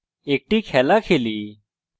একটি খেলা খেলি